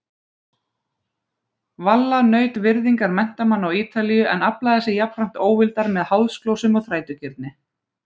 Valla naut virðingar menntamanna á Ítalíu en aflaði sér jafnframt óvildar með háðsglósum og þrætugirni.